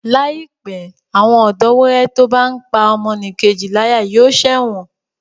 Láìpé, àwọn ọ̀dọ́wẹrẹ tó bá n pá ọmọnìkejì láyà yóò ṣẹ̀wọ̀n